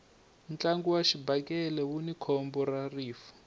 ntlangu wa xibakele wuni khombo ra rifu